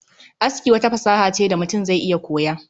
Aski wata fasaha ce da mutum zai iya koya